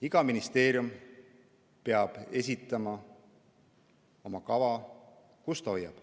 Iga ministeerium peab esitama kava, kust ta kokku hoiab.